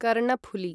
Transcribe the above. Karnaphuli